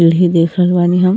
ओहि देख रहल बानी हम --